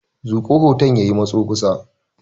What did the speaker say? Zuƙo hoton ya yi matso kusa.